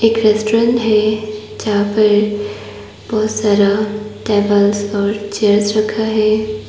एक रेस्टुरेन् है जहाँ पर बहोत सारा टेबल्स और चेयर्स रखा है।